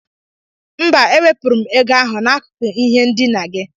Mba, ewepụrụ m ego ahụ n'akụkụ ihe ndina gị.